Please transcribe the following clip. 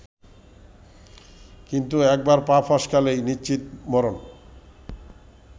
কিন্তু একবার পা ফসকালেই নিশ্চিত মরণ